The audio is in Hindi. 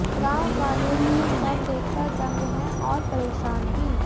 गांव वाले ये सब देखकर दंग हैं और परेशान भी